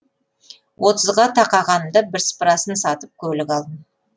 отызға тақағанымда бірсыпырасын сатып көлік алдым